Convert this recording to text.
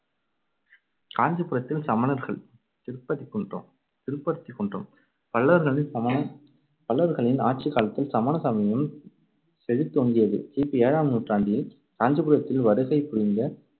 காஞ்சிபுரத்தில் சமணர்கள் திருப்பதிக்குன்றாம் திருப்பருத்திக் குன்றம் பல்லவர்களின் ஆட்சிக் காலத்தில் சமண சமயம் செழித்தோங்கியது. கி பி ஏழாம் நூற்றாண்டில் காஞ்சிபுரத்தில் வருகை புரிந்த